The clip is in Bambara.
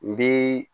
N bi